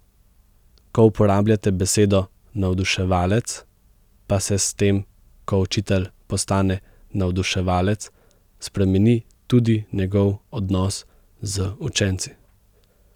Ko uporabljate besedo navduševalec, pa se s tem, ko učitelj postane navduševalec, spremeni tudi njegov odnos z učenci.